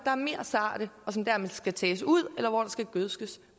er mere sarte og som dermed skal tages ud eller hvor der skal gødskes